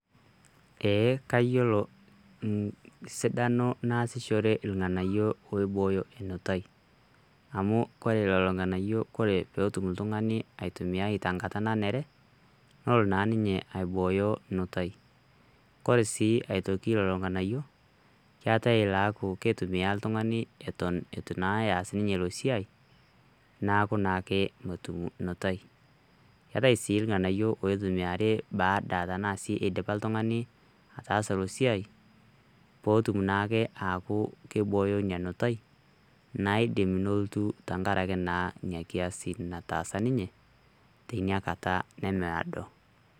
eeh, kayiolo sidano naasishore ilng'anayio oibooyo enutai amu kore lelo ng'anayio kore peetum iltung'ani aitumiai tenkata nanere nolo naa ninye aibooyo nutai kore sii aitoki lolo ng'anayio keetae ilaaku ketumia iltung'ani eton naa etu eas ninye ilo siai neaku naake motum nutai keetae sii ilng'anayio oitumiari baada tanasi idipa iltung'ani ataasa ilo siai potum naake aaku keibooyo inia nutai naidim nolotu tenkaraki naa inia kiasi nataasa ninye teina kata nemiado.